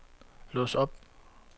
lås op